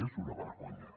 és una vergonya